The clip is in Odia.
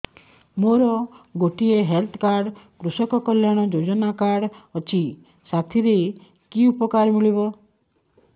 ମୋର ଗୋଟିଏ ହେଲ୍ଥ କାର୍ଡ କୃଷକ କଲ୍ୟାଣ ଯୋଜନା କାର୍ଡ ଅଛି ସାଥିରେ କି ଉପକାର ମିଳିବ